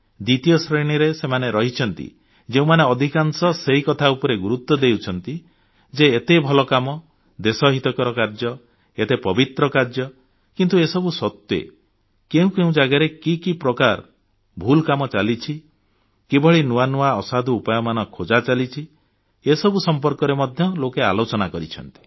ଦ୍ୱିତୀୟ ଶ୍ରେଣୀରେ ସେମାନେ ରହିଛନ୍ତି ଯେଉଁମାନେ ଅଧିକାଂଶ ସେହି କଥା ଉପରେ ଗୁରୁତ୍ୱ ଦେଇଛନ୍ତି ଯେ ଏତେ ଭଲ କାମ ଦେଶହିତକର କାର୍ଯ୍ୟ ଏତେ ପବିତ୍ର କାର୍ଯ୍ୟ କିନ୍ତୁ ଏସବୁ ସତ୍ତ୍ବେ କେଉଁ କେଉଁ ଜାଗାରେ କି କି ପ୍ରକାର ଭୁଲ କାମ ଚାଲିଛି କିଭଳି ନୂଆ ନୂଆ ଅସାଧୁ ଉପାୟମାନ ଖୋଜା ଚାଲିଛି ଏସବୁ ସମ୍ପର୍କରେ ମଧ୍ୟ ଲୋକେ ଆଲୋଚନା କରିଛନ୍ତି